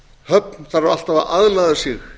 höfn þarf alltaf að aðlaga sig